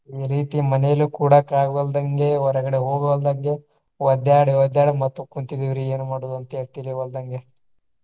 ಈ ರೀತಿ ಮನೆಯಲ್ಲೂ ಕೂಡಾಕ ಆಗ್ವಾಲ್ದಂಗೆ ಹೊರಗಡೆ ಹೋಗಲ್ದಂಗೆ ಒದ್ಯಾಡಿ ಒದ್ಯಾಡಿ ಮತ್ತು ಕುಂತಿದಿವ್ರಿ ಏನು ಮಾಡೋದ ಅಂತ ಹೇಳಿ ತಿಳಿವಾಲ್ದಂಗೆ.